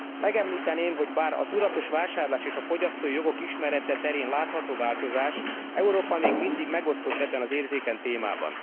Megemlíteném, hogy bár a tudatos vásárlás és a fogyasztói jogok ismerete terén látható a változás, Európa még mindig megosztott ebben az érzékeny témában.